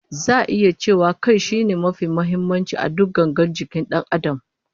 Za'a iya cewa Kai shine mafi muhimmanci a duk gangar jikin Dan Adam